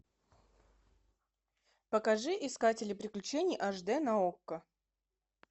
покажи искатели приключений аш дэ на окко